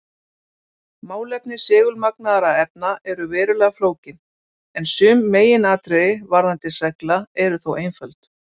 Málefni segulmagnaðra efna eru verulega flókin, en sum meginatriði varðandi segla eru þó einföld.